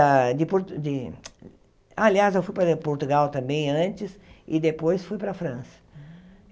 De por de aliás, eu fui para Portugal também antes e depois fui para a França.